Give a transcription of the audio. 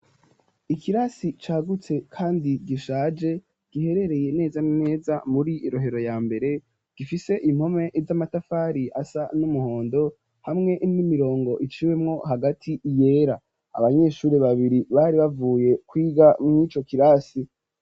Ikirasi cagutse kandi gishaje giherereye neza neza muri rohero ya mbere gifise impome z'amatafari asa n'umuhondo hamwe n'imirongo iciwemwo hagati yera. Abanyeshuri babiri bari bavuye kwiga mw'ico kirasi.